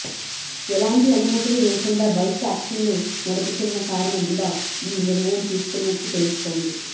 ఎలాంటి అనుమతులు లేకుండా బైక్ ట్యాక్సీలు నడుపుతున్న కారణంగా ఈ నిర్ణయం తీసుకున్నట్లు తెలుస్తోంది